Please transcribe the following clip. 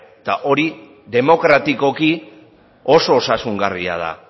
hori demokratikoki oso osasungarria da